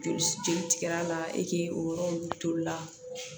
Joli jeli tigɛra e k'i o yɔrɔ nunnu toli la